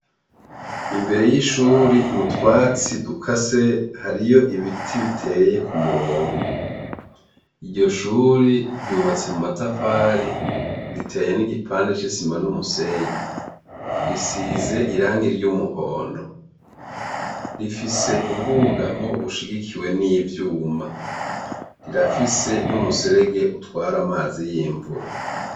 Imbere y'ishuri mutwatsi dukase hariyo ibiti biteye ku murongo, iryo shuri ryubatse mu matafari riteye n'igipande c'isima n'umusenyi, risize irangi ry'umuhondo, rifise ubw'ubugamwo bushigikiwe n'ivyuma, rirafise n'umuserege utwara amazi y'imvura.